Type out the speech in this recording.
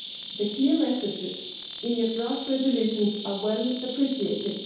The clear messages in your draft resolutions are well appreciated.